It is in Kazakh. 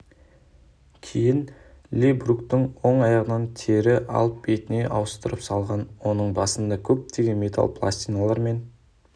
кейін ли бруктың оң аяғынан тері алып бетіне ауыстырып салған оның басында көптеген металл пластиналар мен